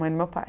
Mãe do meu pai.